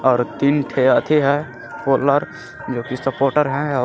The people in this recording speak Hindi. और तीन रखी है कोलर जोकि सपोर्टर है और--